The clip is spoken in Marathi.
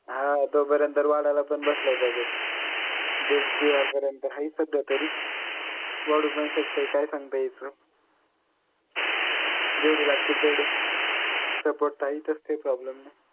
हा तोपर्यंत तर वाढाला पण बसलंय budget दिडशे होईपर्यंत हाय सध्या तरी वाढू पण शकतय काय सांगता यायचं? जेवढे लागतील तेवढे support तर हाय इथच काय problem नाही